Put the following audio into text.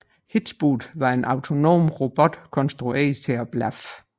hitchBOT var en autonom robot konstrueret til at blaffe